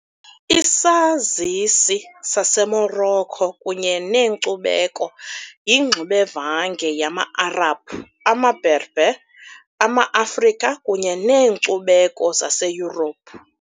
Isazisi saseMorocco kunye nenkcubeko yingxubevange yama -Arabhu, amaBerber, amaAfrika kunye neenkcubeko zaseYurophu .